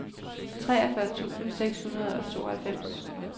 treogfyrre tusind seks hundrede og tooghalvfems